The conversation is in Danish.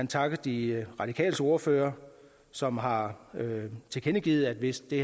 takke de radikales ordfører som har tilkendegivet at hvis det